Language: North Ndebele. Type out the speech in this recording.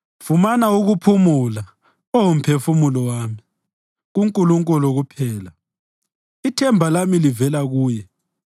Fumana ukuphumula, Oh mphefumulo wami, kuNkulunkulu kuphela; ithemba lami livela kuye.